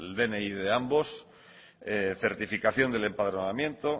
dni de ambos certificación del empadronamiento